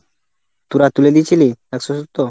তোরা তুলে দিয়েছিলি একশো সত্তর?